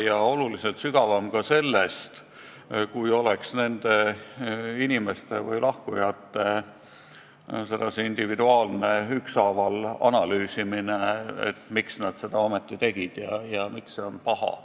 Ja see on oluliselt sügavam ka sellest, kui oleks nende lahkujate individuaalne ükshaaval analüüsimine, et miks nad seda ometi tegid ja miks on see paha.